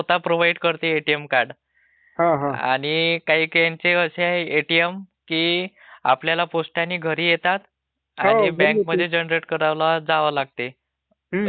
आणि काहीकाहींचे असे आहे एटीएम की आपल्याला पोस्टाने घरी येतात आणि बँक मध्ये जनरेट करायला जावे लागते. एटीएम पिन जनरेट करण्यासाठी.,